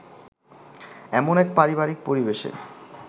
এমন এক পারিবারিক পরিবেশে